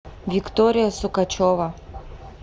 виктория сукачева